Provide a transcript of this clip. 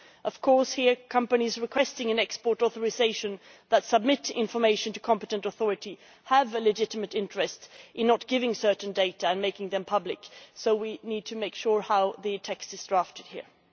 Of course, here, companies requesting an export authorisation that submit information to competent authority have a legitimate interest in not giving certain data and making them public, so we need to make sure how the text is drafted here.